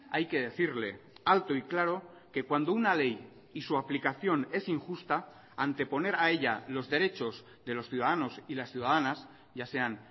hay que decirle alto y claro que cuando una ley y su aplicación es injusta anteponer a ella los derechos de los ciudadanos y las ciudadanas ya sean